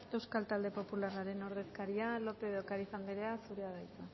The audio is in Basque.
euskal talde popularraren ordezkaria lópez de ocariz anderea zurea da hitza